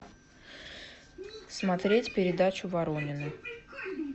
смотреть передачу воронины